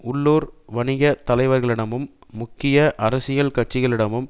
உள்ளூர் வணிக தலைவர்களிடமும் முக்கிய அரசியல் கட்சிகளிடமும்